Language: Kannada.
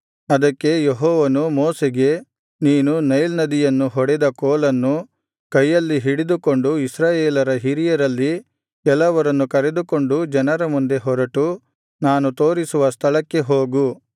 ಅದಕ್ಕೆ ಯೆಹೋವನು ಮೋಶೆಗೆ ನೀನು ನೈಲ್ ನದಿಯನ್ನು ಹೊಡೆದ ಕೋಲನ್ನು ಕೈಯಲ್ಲಿ ಹಿಡಿದುಕೊಂಡು ಇಸ್ರಾಯೇಲರ ಹಿರಿಯರಲ್ಲಿ ಕೆಲವರನ್ನು ಕರೆದುಕೊಂಡು ಜನರ ಮುಂದೆ ಹೊರಟು ನಾನು ತೋರಿಸುವ ಸ್ಥಳಕ್ಕೆ ಹೋಗು